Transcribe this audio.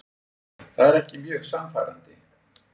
Það er ekki mjög sannfærandi.